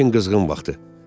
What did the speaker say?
İşin qızğın vaxtı.